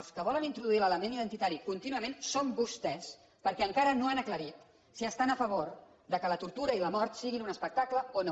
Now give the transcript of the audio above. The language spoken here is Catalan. els que volen introduir l’element identitari contínuament són vostès perquè encara no han aclarit si estan a favor que la tortura i la mort siguin un espectacle o no